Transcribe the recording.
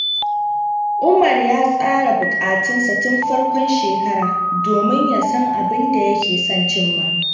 Umar ya tsara burikansa tun farkon shekara domin ya san abin da yake son cimma.